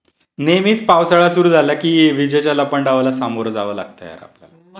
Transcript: नेहमीच पावसाळा सुरू झाला की विजेच्याला लपंडावाला सामोरं जावं लागतं यार आपल्याला.